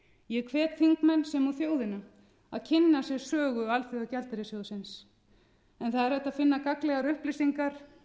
ég hvet þingmenn sem og þjóðina að kynna sér sögu alþjóðagjaldeyrissjóðinn en það er hægt að finna gagnlegar upplýsingar